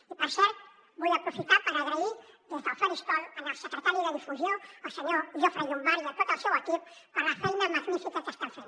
i per cert vull aprofitar per donar les gràcies des del faristol al secretari de difusió el senyor jofre llombart i a tot el seu equip per la feina magnífica que estan fent